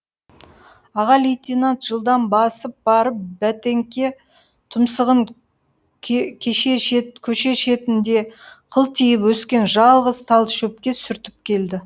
аға лейтенант жылдам басып барып бәтеңке тұмсығын көше шетінде қылтиып өскен жалғыз тал шөпке сүртіп келді